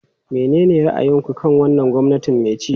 Menene ra'ayinku kan wannan gwamnati mai ci?